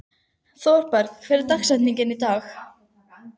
Thorberg, hver er dagsetningin í dag?